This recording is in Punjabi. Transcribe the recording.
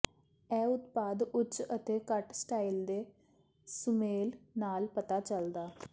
ਇਹ ਉਤਪਾਦ ਉੱਚ ਅਤੇ ਘੱਟ ਸਟਾਈਲ ਦੇ ਸੁਮੇਲ ਨਾਲ ਪਤਾ ਚੱਲਦਾ